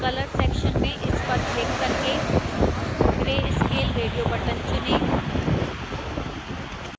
color section में इस पर क्लिक करके grayscale radio button चुनें